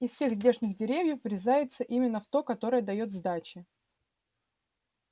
из всех здешних деревьев врезаться именно в то которое даёт сдачи